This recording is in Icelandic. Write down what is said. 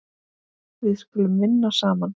Við skulum vinna saman.